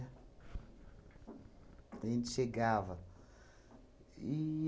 A gente chegava.